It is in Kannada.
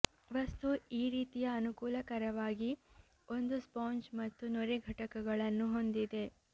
ವಸ್ತು ಈ ರೀತಿಯ ಅನುಕೂಲಕರವಾಗಿ ಒಂದು ಸ್ಪಾಂಜ್ ಮತ್ತು ನೊರೆ ಘಟಕಗಳನ್ನು ಹೊಂದಿದೆ